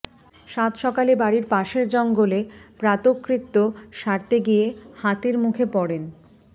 সাতসকালে বাড়ির পাশের জঙ্গলে প্রাতকৃত্য সারতে গিয়ে হাতির মুখে পড়েন